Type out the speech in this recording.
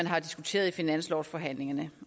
har diskuteret i finanslovsforhandlingerne